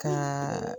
Ka